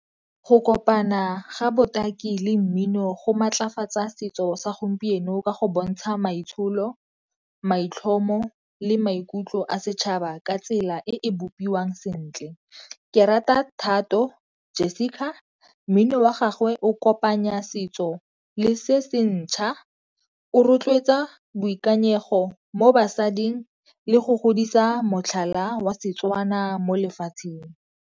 Go kopana ga botaki le mmino go maatlafatsa setso sa gompieno ka go bontsha maitsholo, maitlhomo le maikutlo a setšhaba ka tsela e buiwang sentle. Ke rata Thato Jessica, mmino wa gagwe o kopanya setso le se se ntšha, o rotloetsa boikanyego mo basading le go godisa motlhala wa Setswana mo lefatsheng.